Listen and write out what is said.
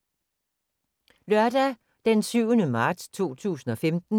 Lørdag d. 7. marts 2015